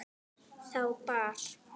Þá bar